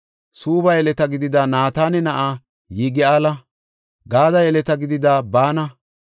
Suubba yeleta gidida Naatana na7aa Yigi7aala, Gaade yeleta gidida Baana,